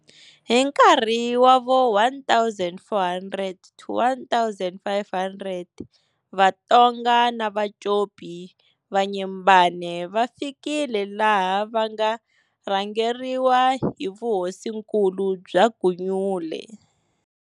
Hi nkarhi wa vo 1400-1500 vaTonga na Vacopi va Nyembane va fikile laha va nga rhangeriwa hi vuhosinkulu bya Gunyule.